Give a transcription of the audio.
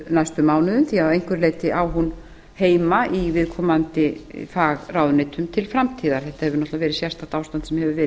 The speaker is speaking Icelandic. næstu mánuðum því að að einhverju leyti á hún heima í viðkomandi fagráðuneyti til framtíðar þetta hefur verið sérstakt ástand sem hefur verið